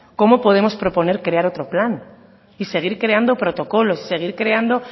cómo podemos proponer crear otro plan y seguir creando protocolos y seguir creando